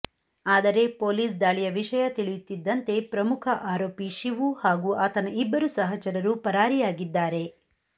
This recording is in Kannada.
ಆದರೆ ಪೊಲೀಸ್ ದಾಳಿಯ ವಿಷಯ ತಿಳಿಯುತ್ತಿದ್ದಂತೆ ಪ್ರಮುಖ ಆರೋಪಿ ಶಿವು ಹಾಗೂ ಆತನ ಇಬ್ಬರು ಸಹಚರರು ಪರಾರಿಯಾಗಿದ್ದಾರೆ